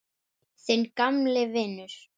Þinn gamli vinur